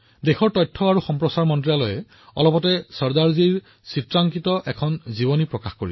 দেশৰ তথ্য আৰু সম্প্ৰচাৰ মন্ত্ৰালয়ে শেহতীয়াকৈ চৰ্দাৰ চাহাবৰ ওপৰত এখন চিত্ৰজীৱনীও প্ৰকাশ কৰিছে